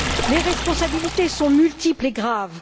Les responsabilités sont multiples et graves.